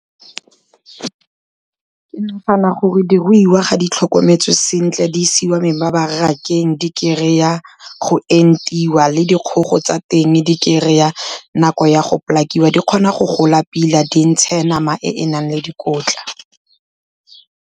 Ke nagana gore diruiwa ga di tlhokometswe sentle di isiwa mebarakeng, di kry-a go entiwa le dikgogo tsa teng di kry-a nako ya go , di kgona go gola pila di ntshe nama e e nang le dikotla.